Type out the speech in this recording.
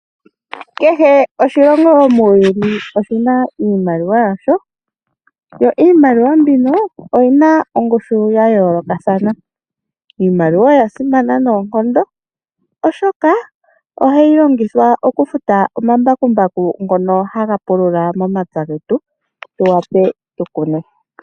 Kehe oshilongo muuyuni oshi na iimaliwa yasho yo iimaliwa mbino oyina ongushu ya yoolokathana. Iimaliwa oya simana noonkondo oshoka ohayi longithwa omambambaku ngono haga pulula momapya getu tu wape tu kune.